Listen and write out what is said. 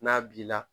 N'a b'i la